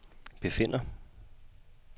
befinder